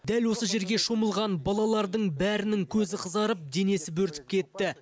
дәл осы жерге шомылған балалардың бәрінің көзі қызарып денесі бөртіп кетті